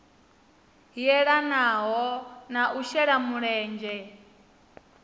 yelanaho na u shela mulenzhe